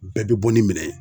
Bɛɛ be bɔ ni minɛn ye.